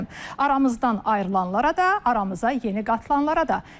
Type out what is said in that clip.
Aramızdan ayrılanlara da, aramıza yeni qatılanlara da.